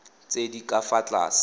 tse di ka fa tlase